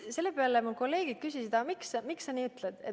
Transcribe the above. Selle peale mu kolleegid küsisid, miks sa nii ütlesid.